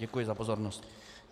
Děkuji za pozornost.